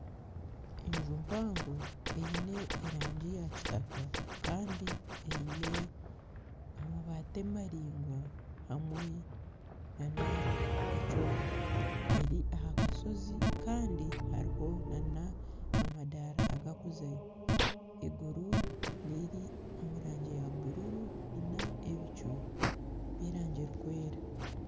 Enju mpango eine erangi ya kitaka Kandi eine amabati maringwa hamwe na ekyoma . Eri aha kasozi Kandi hariho na amadara aga kuzayo . Eiguru riri omu rangi ya bururu na ebicu by'erangi erikwera.